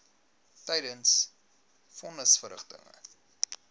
tydens von nisverrigtinge